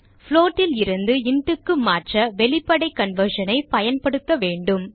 float லிருந்து intக்கு மாற்ற வெளிப்படை conversion ஐ பயன்படுத்த வேண்டும்